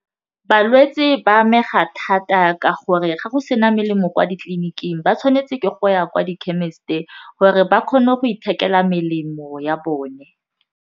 Balwetse ba amega thata ka gore ga go se na melemo kwa ditleliniking ba tshwanetse ke go ya kwa di chemist-e gore ba kgone go ithekela melemo ya bone.